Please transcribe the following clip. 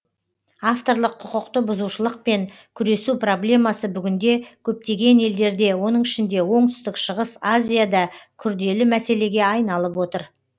авторлық құқықты бұзушылықпен күресу проблемасы бүгінде көптеген елдерде оның ішінде оңтүстік шығыс азияда күрделі мәселеге айналып отыр